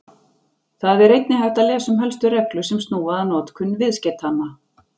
Þar er einnig hægt að lesa um helstu reglur sem snúa að notkun viðskeytanna.